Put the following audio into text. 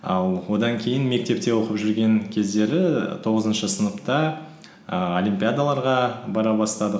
ал одан кейін мектепте оқып жүрген кездері тоғызыншы сыныпта ііі олимпиядаларға бара бастадық